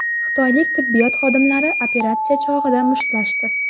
Xitoylik tibbiyot xodimlari operatsiya chog‘ida mushtlashdi.